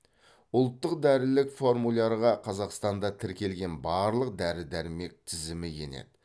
ұлттық дәрілік формулярға қазақстанда тіркелген барлық дәрі дәрмек тізімі енеді